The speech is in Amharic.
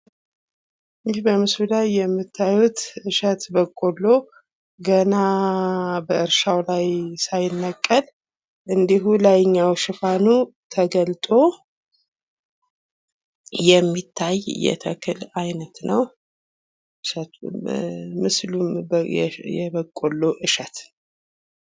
ይህ በምስሉ ላይ የምታዩት እሸት በቆሎ ገና በእርሻው ላይ እያለ አንድሁ ላይኛው ሽፋኑ ተገልጦ እናያለን። ምስሉም የበቆሎ እሸት ነው።